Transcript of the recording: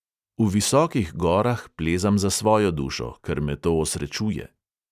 V visokih gorah plezam za svojo dušo, ker me to osrečuje.